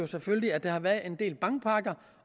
selvfølgelig at der har været en del bankpakker